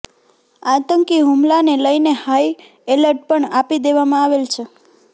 આતંકી હુમલાને લઇને હાઇ એલર્ટ પણ આપી દેવામાં આવેલ છે